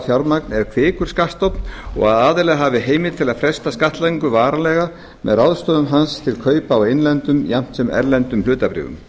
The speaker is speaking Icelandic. fjármagn er kvikur skattstofn og að aðilar hafi haft heimild til að fresta skattlagningu varanlega með ráðstöfun hans til kaupa á innlendum jafnt sem erlendum hlutabréfum